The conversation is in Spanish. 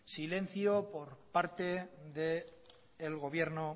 silencio por parte del gobierno